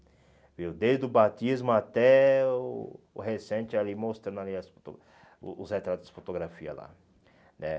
viu Desde o batismo até o o recente ali, mostrando ali as o os retratos de fotografia lá né.